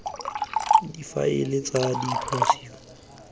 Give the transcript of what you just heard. difaele tsa dipotsiso tsa ka